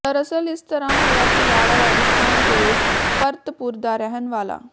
ਦਰਅਸਲ ਇਸ ਤਰਾ ਹੋਇਆ ਕਿ ਲਾੜਾ ਰਾਜਸਥਾਨ ਦੇ ਭਰਤਪੁਰ ਦਾ ਰਹਿਣ ਵਾਲਾ